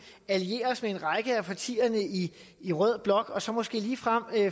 alliere os med en række af partierne i i rød blok og så måske ligefrem